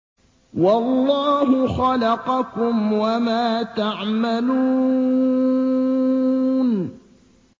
وَاللَّهُ خَلَقَكُمْ وَمَا تَعْمَلُونَ